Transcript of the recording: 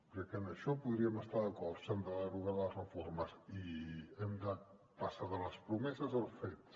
crec que en això podríem estar d’acord s’han de derogar les reformes i hem de passar de les promeses als fets